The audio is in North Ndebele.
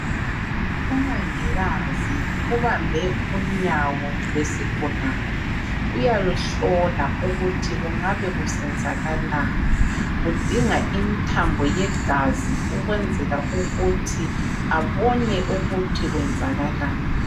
Umongikazi ubambe unyawo lwesigulane uyaluhlola ukuthi kungabe kusenzakalani .udinga imithambo yegazi ukwenzela ukuthi abone ukuthi kwenzakalani.